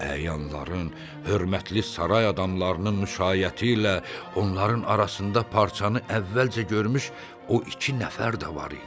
Əyanların, hörmətli saray adamlarının müşaiyəti ilə onların arasında parçanı əvvəlcə görmüş o iki nəfər də var idi.